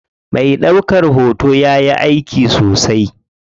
Me ɗaukan hoto yayi aiki sosai.